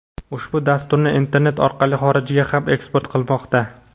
ushbu dasturni internet orqali xorijga ham eksport qilmoqda.